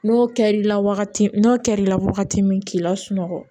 N'o kɛra i la wagati min n'o kɛr'i la wagati min k'i la sunɔgɔ